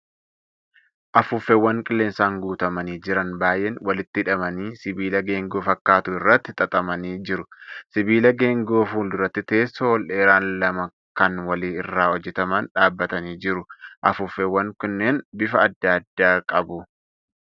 Afuuffeewwan qilleensaan guutamaanii jiran baay'een walitti hidhamanii sibiila geengoo fakkaatu irratti xaxamanii jiru. Sibiila geengoo fuulduratti teessoo ol dheeraan lama kan wali irraa hojjataman dhaabbatanii jiru. Afuuffeewwan kunneen bifa adda addaa qabu.